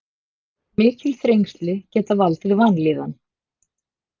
Mikil þrengsli geta valdið vanlíðan.